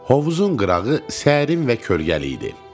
Hovuzun qırağı sərin və kölgəli idi.